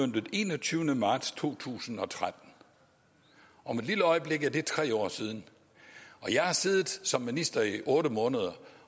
den enogtyvende marts to tusind og tretten om et lille øjeblik er det tre år siden og jeg har siddet som minister i otte måneder